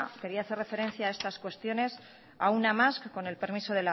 quería hacer referencia a estas cuestiones a una más con el permiso